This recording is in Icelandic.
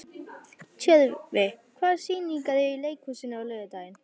Tjörfi, hvaða sýningar eru í leikhúsinu á laugardaginn?